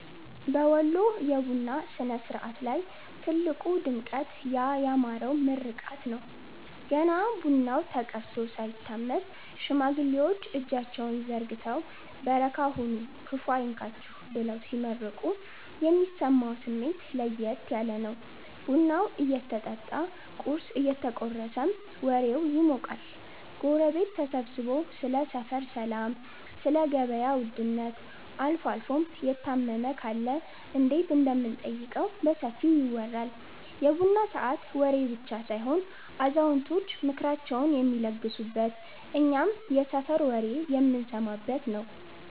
በወሎ የቡና ሥነ-ሥርዓት ላይ ትልቁ ድምቀት ያ ያማረው ምርቃት ነው። ገና ቡናው ተቀድቶ ሳይታመስ፣ ሽማግሌዎች እጃቸውን ዘርግተው "በረካ ሁኑ፤ ክፉ አይንካችሁ" ብለው ሲመርቁ የሚሰማው ስሜት ለየት ያለ ነው። ቡናው እየጠጣ ቁርስ እየተቆረሰም ወሬው ይሞቃል። ጎረቤት ተሰብስቦ ስለ ሰፈር ሰላም፣ ስለ ገበያ ውድነት አልፎም የታመመ ካለ እንዴት እንደምንጠይቀው በሰፊው ይወራል። የቡና ሰዓት ወሬ ብቻ ሳይሆን አዛውንቶች ምክራቸውን የሚለግሱበት፤ እኛም የሰፈር ወሬ የምንሰማበት ነዉ።